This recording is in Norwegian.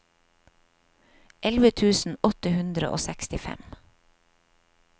elleve tusen åtte hundre og sekstifem